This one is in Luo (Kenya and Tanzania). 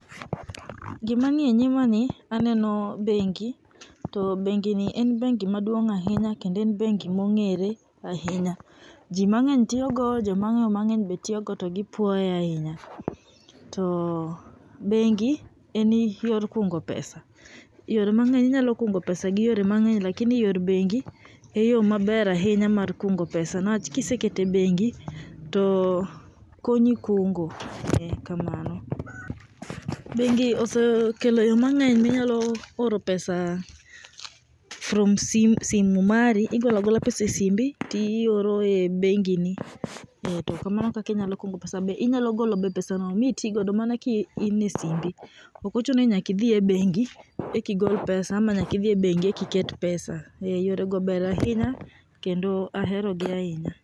Gima nie nyima ni aneno bengi to bengini en bengi maduong ahinya kendo en bengi mongere ahinya. Jii mangeny tiyo go ,joma angeyo maber be tiyo go to gipuoye ahinya. To bengi en yor kungo pesa, yore mangeny ,inyalo kuongo pesa gi yore mangeny lakini yor bengi e yoo maber ahinya mar kungo pesa niwach kiseketo e bengi konyi kungo, kamano. Bengi osekelo yoo mangeny minyalo oro pesa from sim, simu mari, igolo agola pesa e simbi tioro e bengi ni. eeh to kamano e kaka inyalo kungo pesa . Be inyalo golo pesano mitigo mana kaen e simbi, ok ochuno ni nyaka idh e bengi ek aigol pesa ama nyaka idhi e bengi eki ket pesa . Eeeh yore go ber ahinya kendo ahero gi ahinya